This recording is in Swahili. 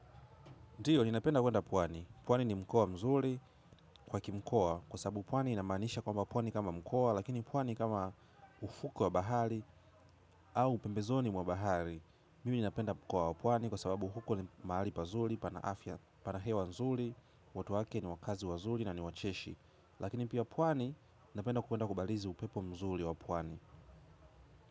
Ndio, ninapenda kwenda pwani. Pwani ni mkoa mzuri kwa ki mkoa kwa sababu pwani inamanisha kwamba pwani kama mkoa lakini pwani kama ufukwe wa bahari au pembezoni wa bahari mimi ninapenda mkoa wa pwani kwa sababu huko ni mahali pazuri, pana afya, pana hewa nzuri watu wake ni wakazi wazuri na ni wacheshi. Lakini pia pwani, ninapenda kwenda kubarizi upepo mzuri wa pwani.